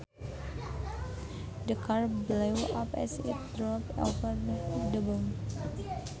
The car blew up as it drove over the bomb